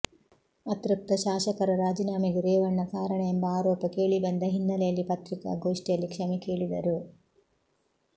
ಅತೃಪ್ತ ಶಾಸಕರ ರಾಜೀನಾಮೆಗೆ ರೇವಣ್ಣ ಕಾರಣ ಎಂಬ ಆರೋಪ ಕೇಳಿಬಂದ ಹಿನ್ನೆಲೆಯಲ್ಲಿ ಪತ್ರಿಕಾಗೋಷ್ಠಿಯಲ್ಲಿ ಕ್ಷಮೆ ಕೇಳಿದರು